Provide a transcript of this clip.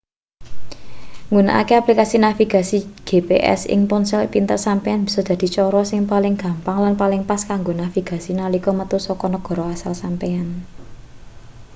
nggunakake aplikasi nasvigasi gps ing ponsel pinter sampeyan bisa dadi cara sing paling gampang lan paling pas kanggo navigasi nalika metu saka negara asal sampeyan